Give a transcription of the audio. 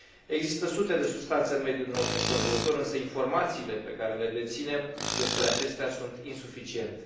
Există sute de substanțe în mediul nostru înconjurător, însă informațiile pe care le deținem despre acestea sunt insuficiente.